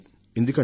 ఎందుకంటే